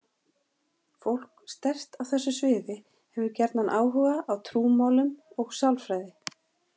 Fólk sterkt á þessu sviði hefur gjarnan áhuga á trúmálum og sálfræði.